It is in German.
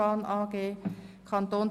Das Wort hat der Kommissionssprecher.